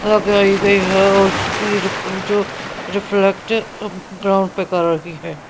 लगाई गई है और उसकी जो रिफ्लेक्ट ग्राउंड पे कर रही है.